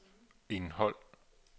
indhold